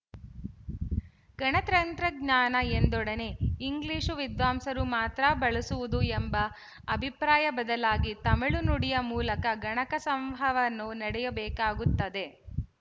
ಗಣಕತಂತ್ರಜ್ಞಾನ ಎಂದೊಡನೆ ಇಂಗ್ಲಿಶು ವಿದ್ವಾಂಸರು ಮಾತ್ರ ಬಳಸುವುದು ಎಂಬ ಅಭಿಪ್ರಾಯ ಬದಲಾಗಿ ತಮಿಳು ನುಡಿಯ ಮೂಲಕ ಗಣಕ ಸಂವಹನವು ನಡೆಯಬೇಕಾಗುತ್ತದೆ